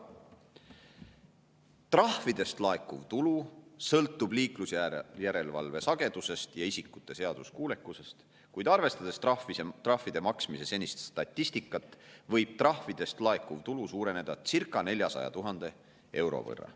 Trahvidest laekuv tulu sõltub liiklusjärelevalve sagedusest ja isikute seaduskuulekusest, kuid arvestades trahvide maksmise senist statistikat, võib trahvidest laekuv tulu suureneda circa 400 000 euro võrra.